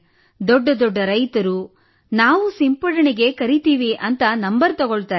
ದೊಡ್ಡ ದೊಡ್ಡ ರೈತರು ನಾವೂ ಸಿಂಪಡಣೆಗೆ ಕರೆಯುತ್ತೇವೆ ಎಂದು ನಂಬರ್ ತೆಗೆದುಕೊಳ್ಳುತ್ತಾರೆ